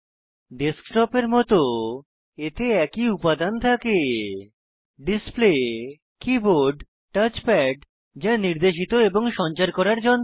ডেস্কটপের মত এতে একই উপাদান থাকে ডিসপ্লে কীবোর্ড টাচপ্যাড যা নির্দেশিত এবং সঞ্চার করার যন্ত্র